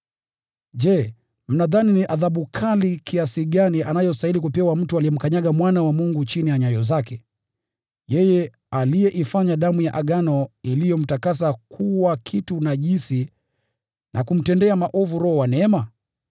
Je, mnadhani ni adhabu kali kiasi gani anayostahili kupewa mtu aliyemkanyaga Mwana wa Mungu chini ya nyayo zake, yeye aliyeifanya damu ya Agano iliyomtakasa kuwa kitu najisi na kumtendea maovu Roho wa neema?